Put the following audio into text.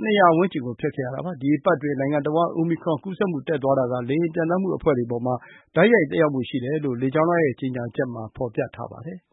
၂၀၀ ဝန်းကျင်ကို ဖျက်ခဲ့ရတာပါ။ “ဒီအပတ်အတွင်း နိုင်ငံတဝန်း အိုမီခရွန် ကူးစက်မှု တက်သွားတာက လေယာဉ်ပျံသန်းမှု အဖွဲ့တွေအပေါ်မှာ တိုက်ရိုက်သက်ရောက်မှု ရှိပါတယ်” လို့ လေကြောင်းလိုင်းရဲ့ ကြေညာချက်မှာ ဖော်ပြထားပါတယ်။